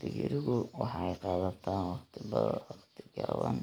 Digirigu waxay qaadataa waqti gaaban